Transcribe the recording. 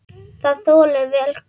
Það þolir vel kulda.